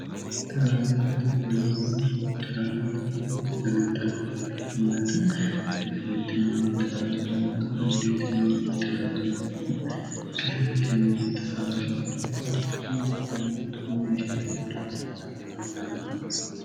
trnxufaanyinni 0rwnibuduufidlemtrnmmtyirtimmtirgira dandaanni mundeetimmixir agara dananu ikisamatinni xirawara gandammottotuusatinni humesiira saasa dandaanno